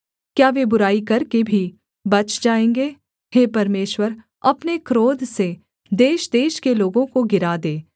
क्या वे बुराई करके भी बच जाएँगे हे परमेश्वर अपने क्रोध से देशदेश के लोगों को गिरा दे